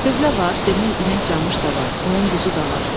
Tövlə var, demək inək camış da var, qoyun quzu da var.